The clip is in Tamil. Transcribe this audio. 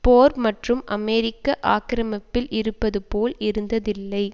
போர் மற்றும் அமெரிக்க ஆக்கிரமிப்பில் இருப்பது போல் இருந்ததில்லை